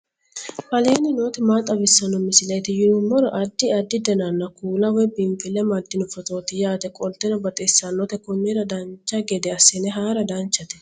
aleenni nooti maa xawisanno misileeti yinummoro addi addi dananna kuula woy biinsille amaddino footooti yaate qoltenno baxissannote konnira dancha gede assine haara danchate